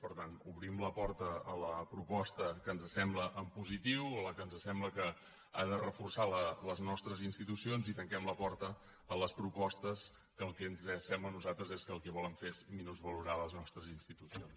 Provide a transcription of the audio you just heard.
per tant obrim la porta a la proposta que ens sembla en positiu a la que ens sembla que ha de reforçar les nostres institucions i tanquem la porta a les propostes que el que ens sembla a nosaltres és que el que volen fer és menysvalorar les nostres institucions